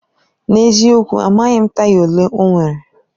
N'eziokwu! Amaghị m taya olee ọ nwere.